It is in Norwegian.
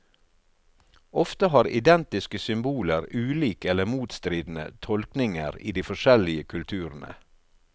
Ofte har identiske symboler ulik eller motstridende tolkninger i de forskjellige kulturene.